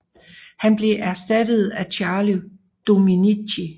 Han blev erstattet af Charli Dominicci